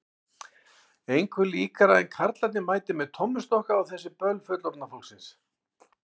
Engu líkara en karlarnir mæti með tommustokka á þessi böll fullorðna fólksins.